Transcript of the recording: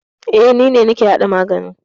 E, ni ne nake hada magani.